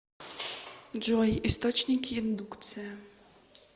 джой источники индукция